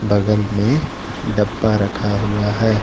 बगल में डब्बा रखा हुआ है।